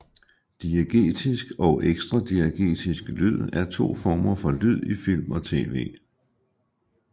Diegetisk og ekstradiegetisk lyd er to former for lyd i film og tv